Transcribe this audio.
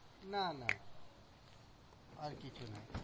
না না, আর কিছু নয়।